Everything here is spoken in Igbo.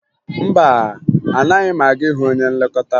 Mba, anaghị m aga ịhụ onye nlekọta